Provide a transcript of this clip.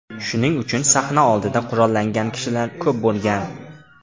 Shuning uchun sahna oldida qurollangan kishilar ko‘p bo‘lgan.